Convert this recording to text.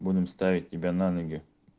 будем ставить тебя на ноги